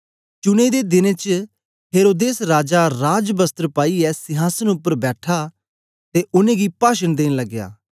चुनें दे दिनें च हेरोदेस राजा राजवस्त्र पाईयै सिंहासन उपर बैठा ते उनेंगी पाशन देन लगया